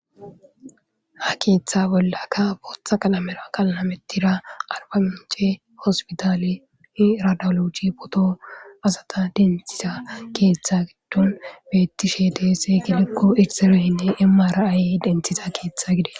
ha keeththa bollakka booththa qalamera qalamettiya arba mince hospitale i radalochi photo asata denthisa keeththa giddon beettishe deese gidikko irsereynne mray denthiza keeththa gide